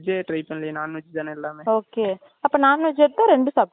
அப்ப non veg எடுத்தா ரெண்டு சாப்பிடுக்கலாம் அப்ப non veg தான வந்துட்டு லாபம்